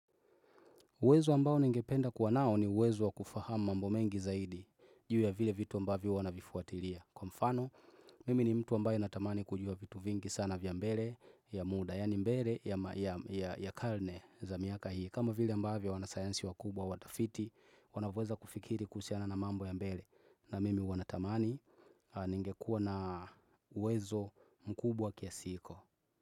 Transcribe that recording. Uwezo ambao ningependa kuwa nao ni uwezo wa kufahama mambo mengi zaidi juu ya vile vitu ambavyo huwa navifuatilia. Kwa mfano, mimi ni mtu ambaye natamani kujua vitu vingi sana vya mbele vya muda, yani mbele ya karne za miaka hii. Kama vile ambavyo wanasayansi wakubwa watafiti, wanavyoweza kufikiri kuhusiana na mambo ya mbele. Na mimi huwa natamani ningekua na uwezo mkubwa kiasi hiko.